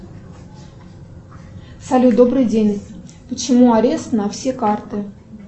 салют добрый день почему арест на все карты